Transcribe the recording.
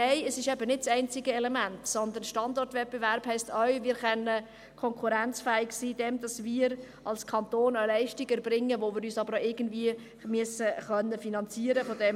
Nein, es ist eben nicht das einzige Element, sondern Standortwettbewerb heisst auch, dass wir konkurrenzfähig sein können, indem wir als Kanton eine Leistung erbringen, die wir uns aber auch irgendwie finanzieren können müssen.